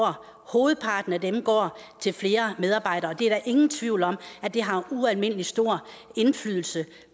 hovedparten af dem går til flere medarbejdere det er der ingen tvivl om har ualmindelig stor indflydelse